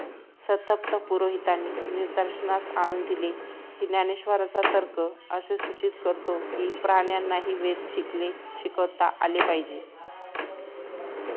संतप्त पुरोहितांनी निदर्शनास आणून दिले कि ज्ञानेश्वरांचा तर्क असे सूचित करतो कि प्राण्यांनाही वेद शिकले शिकता आले पाहिजेत